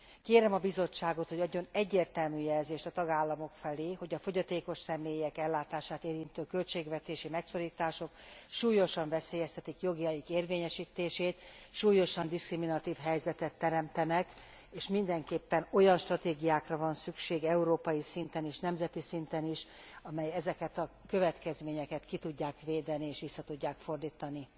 Kérem a Bizottságot, hogy adjon egyértelmű jelzést a tagállamok felé, hogy a fogyatékos személyek ellátását érintő költségvetési megszorítások súlyosan veszélyeztetik jogaik érvényesítését, súlyosan diszkriminatív helyzetet teremtenek, és mindenképpen olyan stratégiákra van szükség európai szinten és nemzeti szinten is, amelyek ezeket a következményeket ki tudják védeni és vissza tudják fordítani.